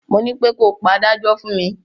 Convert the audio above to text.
Mo nípé ko pe adájọ́ fún mi.